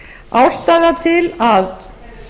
ástæðan til að